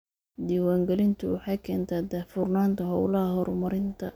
Diiwaangelintu waxay keentaa daahfurnaanta hawlaha horumarinta.